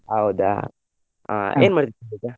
ಹೌದಾ ಅಹ್ ಏನ್ ಮಾಡತಿದ್ದೆ ಈಗಾ?